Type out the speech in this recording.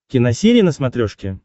киносерия на смотрешке